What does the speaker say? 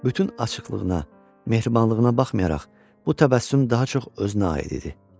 bütün açıqlığına, mehribanlığına baxmayaraq bu təbəssüm daha çox özünə aid idi.